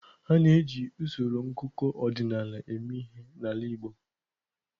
A na-eji usoro ngụkọ ọdịnala eme ihe n'ala Igbo.